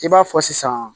I b'a fɔ sisan